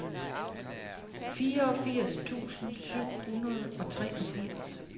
fireogfirs tusind syv hundrede og treogfirs